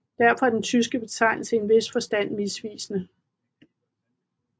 Derfor er den tyske betegnelse i en vis forstand misvisende